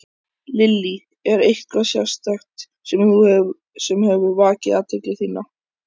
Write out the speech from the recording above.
Lillý: Er eitthvað sérstakt sem hefur vakið athygli þína?